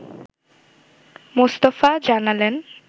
মোস্তফা জানালেন